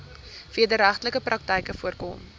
wederregtelike praktyke voorkom